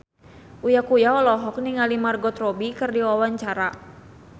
Uya Kuya olohok ningali Margot Robbie keur diwawancara